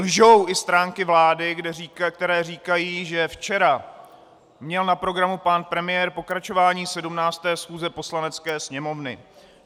Lžou i stránky vlády, které říkají, že včera měl na programu pan premiér pokračování 17. schůze Poslanecké sněmovny.